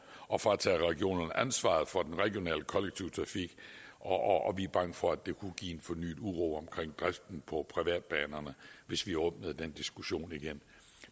at fratage regionerne ansvaret for den regionale kollektive trafik og vi er bange for at det kunne give fornyet uro omkring driften på privatbanerne hvis vi åbnede den diskussion igen